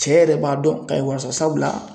Cɛ yɛrɛ b'a dɔn k'a ye wari sɔrɔ sabula